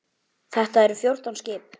Þetta eru fjórtán skip.